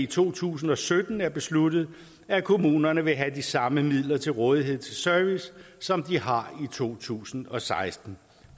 to tusind og sytten er besluttet at kommunerne vil have de samme midler til rådighed til service som de har i to tusind og seksten